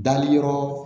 Dali yɔrɔ